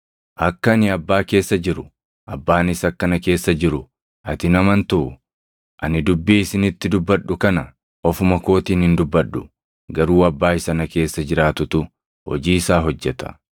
Akka ani Abbaa keessa jiru, Abbaanis akka na keessa jiru ati hin amantuu? Ani dubbii isinitti dubbadhu kana ofuma kootiin hin dubbadhu. Garuu Abbaa isa na keessa jiraatutu hojii isaa hojjeta.